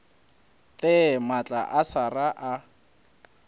there maatla a sera a